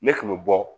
Ne tun bɛ bɔ